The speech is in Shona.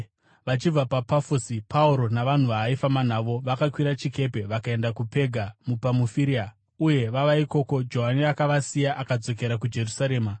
Vachibva paPafosi, Pauro navanhu vaaifamba navo vakakwira chikepe vakaenda kuPega muPamufiria, uye vava ikoko Johani akavasiya akadzokera kuJerusarema.